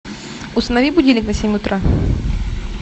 установи будильник на семь утра